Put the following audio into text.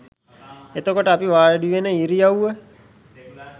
එතකොට අපි වාඩිවෙන ඉරියව්ව